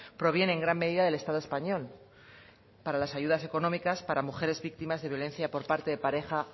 proviene en gran medida del estado español para las ayudas económicas para mujeres víctimas de violencia por parte de pareja